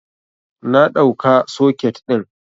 Na ɗauka soket ɗin